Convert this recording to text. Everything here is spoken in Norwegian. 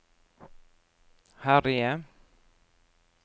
herje